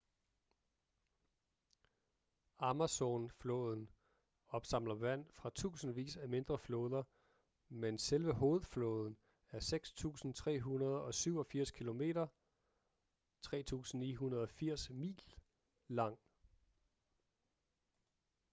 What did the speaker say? amazon-floden opsamler vand fra tusindvis af mindre floder men selve hovedfloden er 6.387 km 3.980 mil lang